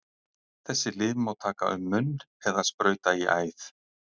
Þessi lyf má taka um munn eða sprauta í æð.